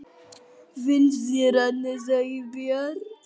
Finnst þér annars ekki bjart?